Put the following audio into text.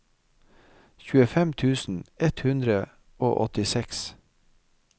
tjuefem tusen ett hundre og åttiseks